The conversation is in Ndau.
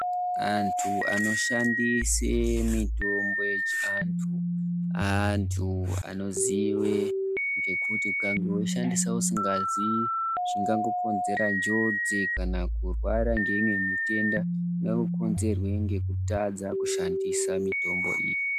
Antu anoshandise mitombo yechiantu, antu anozive ngekuti ukangoishandisa usingaziyi zvinogona kukonzere njodzi kana kurwara ngeimwe mitenda ingangokonzerwe ngekutadza kushandisa mitombo iyi.